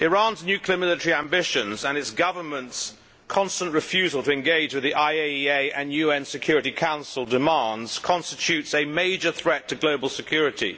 Mr President, Iran's nuclear military ambitions and its government's constant refusal to engage with the IAEA and UN Security Council demands constitute a major threat to global security.